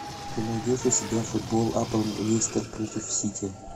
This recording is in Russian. ты найдешь у себя футбол апл лестер против сити